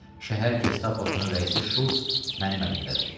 Şəhər gestaposunun rəisi Şults mənim əlimdədir.